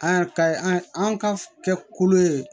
An ka an ka kɛ kolo ye